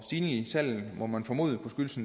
i salget må man formode kunne skyldes